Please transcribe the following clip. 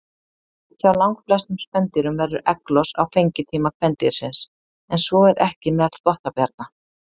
Hjá langflestum spendýrum verður egglos á fengitíma kvendýrsins, en svo er ekki meðal þvottabjarna.